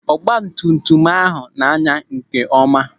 Ọgbatumtum ahụ na-anya nkeọma.